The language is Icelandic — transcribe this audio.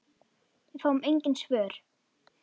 Við fáum engin svör.